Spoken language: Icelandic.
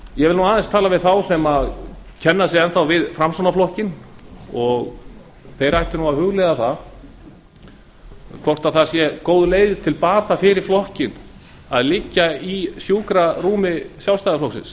ég vil aðeins segja við þá sem enn þá kenna sig við framsóknarflokkinn að þeir ættu nú að hugleiða hvort það sé góð leið til bata fyrir flokkinn að liggja í sjúkrarúmi sjálfstæðisflokksins